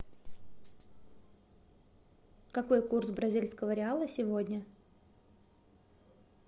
какой курс бразильского реала сегодня